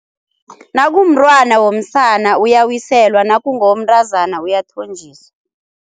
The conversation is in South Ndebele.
Nakumntwana womsana uyawiselwa nakungowomntazana uyathonjiswa.